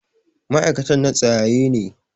ma'aikatan na tsayaye ne.